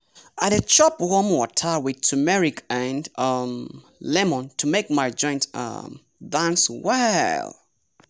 i dey chop warm water with turmeric and um lemon to make my joints um dance well.